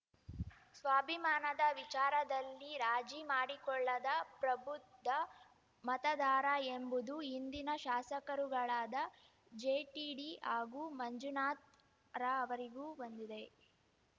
ಸ್ವಾಭಿಮಾನದ ವಿಚಾರದಲ್ಲಿರಾಜಿ ಮಾಡಿಕೊಳ್ಳದ ಪ್ರಬುದ್ಧ ಮತದಾರಎಂಬುದು ಹಿಂದಿನ ಶಾಸಕರುಗಳಾದ ಜೆಟಿಡಿ ಹಾಗೂ ಮಂಜುನಾಥ್‍ರಅರಿವಿಗೂ ಬಂದಿದೆ